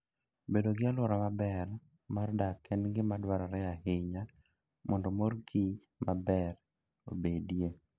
Bedo gi alwora maber mar dak en gima dwarore ahinya mondo mor kich maber obedie.